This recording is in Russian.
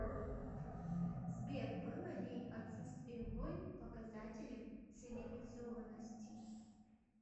сбер было ли отсутствие войн показателем цивилизованности